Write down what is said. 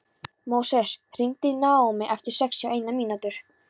Móses, hringdu í Naómí eftir sextíu og eina mínútur.